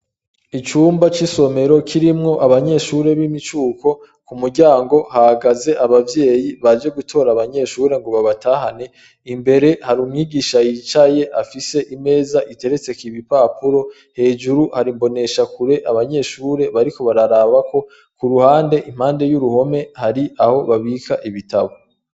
Icumba c'isomero, kirimwo abanyeshure b'imicuko, ku muryango hahagaze abavyeyi baje gutora abanyeshure ngo babatahane, imbere hari umwigisha yicaye afise imeza iteretseko ibipapuro, hejuru hari imboneshakure abanyeshure bariko bararabako, ku ruhande, impande y'uruhome hari aho babika ibitabo.